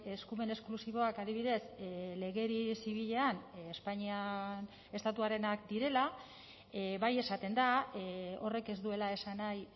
eskumen esklusiboak adibidez legedi zibilean espainian estatuarenak direla bai esaten da horrek ez duela esan nahi